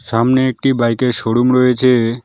সামনে একটি বাইক -এর শোরুম রয়েছে।